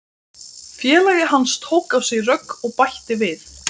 Félagi hans tók á sig rögg og bætti við